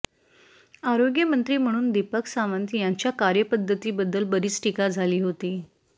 आरोग्यमंत्री म्हणून दीपक सावंत यांच्या कार्यपद्धतीबद्दल बरीच टीका झाली होती